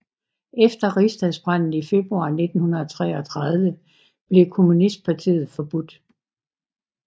Efter Rigsdagsbranden i februar 1933 blev kommunistpartiet forbudt